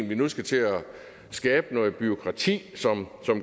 vi nu skal til at skabe noget bureaukrati som